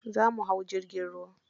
Za mu hau jirgin ruwa.